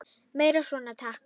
Meira svona takk.